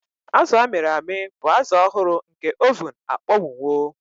Azụ a mịrị amị bụ azụ ọhụrụ nke oven akpọnwụwo.